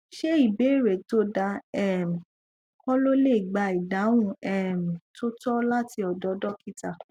ṣé ìbéèrè tó dáa um ko le le gba idahun um to to lati ọ̀dọ̀ dokita